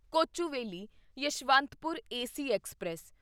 Kochuveli Yesvantpur AC express